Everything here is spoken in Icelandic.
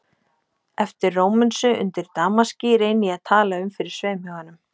Eftir Rómönsu, undir damaski, reyni ég að tala um fyrir sveimhuganum